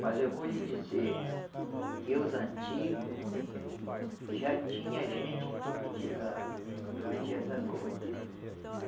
Mas eu vou lhe dizer que os antigo já tinha gente que profetizava para os dias agora.